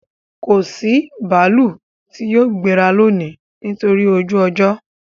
Kò sí bààlù tì yóò gbẹ̀rà lónì nítorí ojú-ọ̀jọ